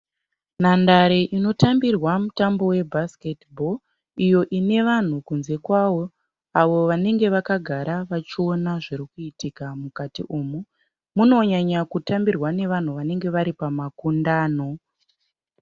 Nhandare inotambirwa mutambo webhasiketibho iyo ine vanhu kunze kwayo avo vanenge vakagara vachiona zviri kuitika mukati umu. Munonyanyokutambirwa nevanhu vanenge vari pamakundano.